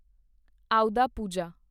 ਆਉਦਾ ਪੂਜਾ